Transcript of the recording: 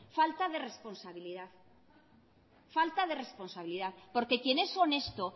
falta de responsabilidad porque quien es honesto